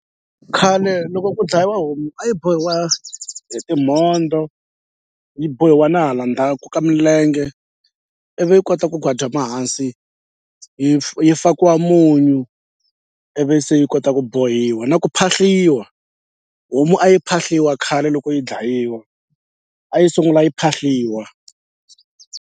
Khale loko ku dlayiwa homu a yi bohiwa hi timhondzo yi bohiwa na hala ndzhaku ka milenge ivi yi kota ku hansi hi yi fakiwa munyu ivi se yi kota ku bohiwa na ku phahliwa homu a yi phahliwa khale loko yi dlayiwa a yi sungula yi phahliwa.